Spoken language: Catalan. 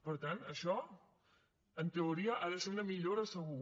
per tant això en teoria ha de ser una millora segur